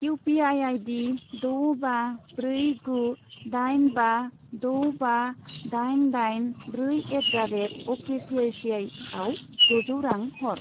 U P I I D द' बा ब्रै गु दाइन बा द' बा दाइन दाइन ब्रै एट दा रेट अकेसिआइसिआइआव द'जौ रां हर।